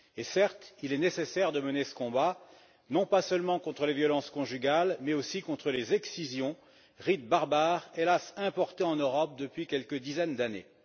Certes, il est nécessaire de mener ce combat non seulement contre les violences conjugales, mais aussi contre les excisions, rite barbare importé hélas en Europe depuis quelques dizaines d'années.